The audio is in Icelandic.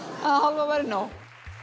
að það hálfa væri nóg